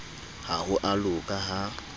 ha ho a loka ha